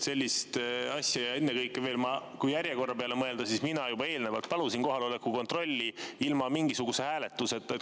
Pealegi, kui järjekorra peale mõelda, siis mina juba eelnevalt palusin kohaloleku kontrolli ilma mingisuguse hääletuseta.